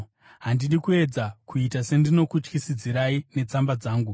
Handidi kuedza kuita sendinokutyisidzirai netsamba dzangu.